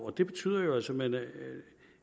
det betyder simpelt hen